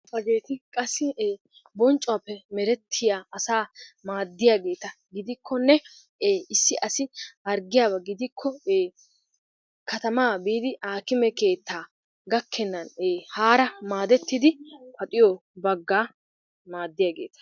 Hegetti qassi bonccuwappe merettiyaa asa natta madiuagettaa gidikonne issi assi hargiyaba gidikko kattamma bidi hakimme kettaa gakennani hara madetiddi paxiyo baga madiyageta.